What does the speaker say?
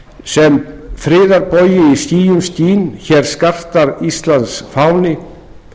sem friðarbogi í skýjum skín hér skartar íslands fáni hér